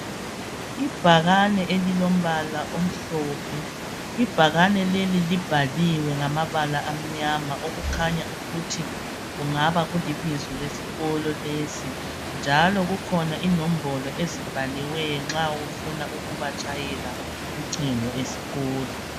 Ibhakane elilombala omhlophe. Ibhakane leli libhaliwe ngamabala amnyama okukhanya ukuthi kungaba kulibizo lesikolo lesi njalo kukhona inombolo ezibhaliweyo nxa ufuna ukubatshayela ucingo esikolo.